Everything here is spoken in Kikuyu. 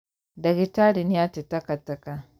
Ndagĩtarĩ nĩate takataka